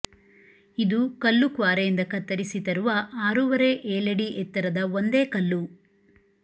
ಇದು ಕಲ್ಲು ಕ್ವಾರೆಯಿಂದ ಕತ್ತರಿಸಿ ತರುವ ಆರೂವರೆ ಏಳಡಿ ಎತ್ತರದ ಒಂದೇ ಕಲ್ಲು